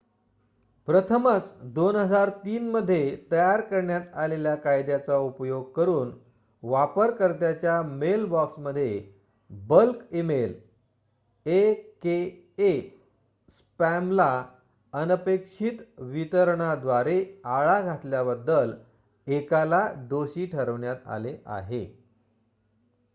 प्रथमच २००३ मध्ये तयार करण्यात आलेल्या कायद्याचा उपयोग करून वापरकर्त्याच्या मेलबॉक्समध्ये बल्क इमेल aka स्पॅमला अनपेक्षित वितरणाद्वारे आळा घातल्याबद्दल एकाला दोषी ठरवण्यात आले आहे